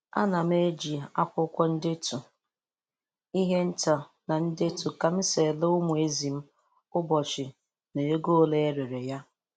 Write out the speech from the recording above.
Ana m eji akwụkwọ ndetu ihe nta na-edetu ka m si na-ere umu ezi m ụbọchị na ego ole e rere ya.